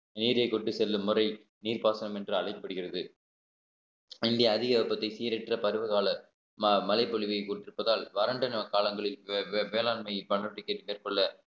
நீரைக் கொண்டு செல்லும் வரை நீர்ப்பாசனம் என்று அழைக்கப்படுகிறது இங்க அதிக வெப்பத்தை சீரற்ற பருவ கால ம~ மழைப்பொழிவை கொண்டிருப்பதால் வறண்டன காலங்களில் வே~ வேளாண்மை பண்ருட்டிக்கு மேற்கொள்ள